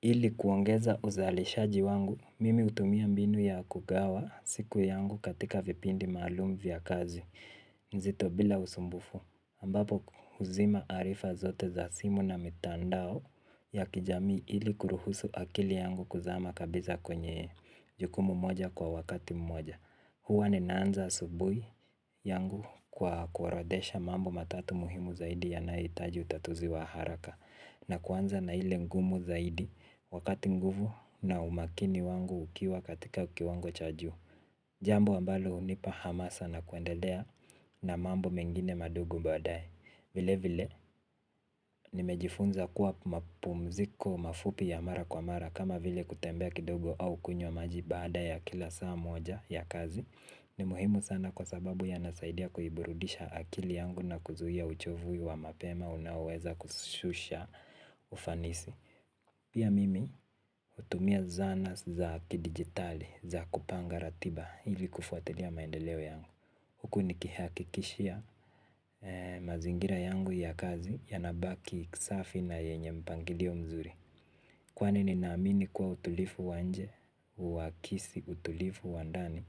Ili kuongeza uzalishaji wangu, mimi hutumia mbinu ya kugawa siku yangu katika vipindi maalum vya kazi, nzito bila usumbufu. Ambapo huzima arifa zote za simu na mitandao ya kijamii ili kuruhusu akili yangu kuzama kabisa kwenye jukumu moja kwa wakati mmoja. Huwa ninaanza asubuhi yangu kwa kuorodhesha mambo matatu muhimu zaidi yanayohitaji utatuzi wa haraka. Na kuanza na ile ngumu zaidi wakati nguvu na umakini wangu ukiwa katika kiwango cha juu. Jambo ambalo hunipa hamasa na kuendelea na mambo mengine madogo baadae. Vile vile nimejifunza kuwa mapumziko mafupi ya mara kwa mara kama vile kutembea kidogo au kunywa maji baada ya kila saa moja ya kazi. Ni muhimu sana kwa sababu yanasaidia kuiburudisha akili yangu na kuzuia uchovu wa mapema unaoweza kushusha ufanisi. Pia mimi hutumia zana za kidigitali za kupanga ratiba ili kufuatilia maendeleo yangu huku nikihakikishia mazingira yangu ya kazi yanabaki safi na yenye mpangilio mzuri. Kwani ninaamini kuwa utulivu wa nje, hu akisi utulivu wa ndani